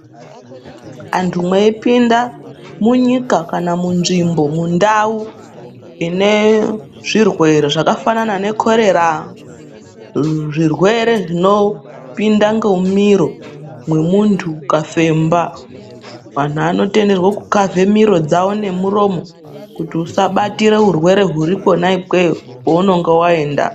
Antu mweipinda munyika kana munzvimbo, mundau inezvirwere zvakafanana nekhorera, zvirwere zvinopinda ngemumiro mwemuntu ukafemba, vantu vanotenderwe kukhavhe miro dzavo nemuromo. Kuti usabatire urwere huri kwona ikweyo kwounonga waenda.